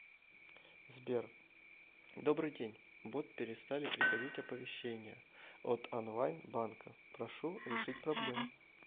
сбер добрый день бот перестали приходить оповещения от онлайн банка прошу решить проблему